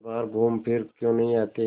वे बाहर घूमफिर क्यों नहीं आते